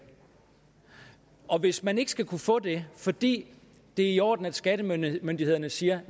og hvis man ikke skal kunne få det fordi det er i orden at skattemyndighederne siger